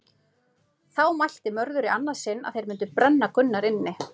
Þá mælti Mörður í annað sinn að þeir myndi brenna Gunnar inni.